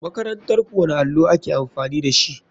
Makarantarku wani allo ake amfani dashi.